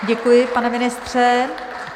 Děkuji, pane ministře.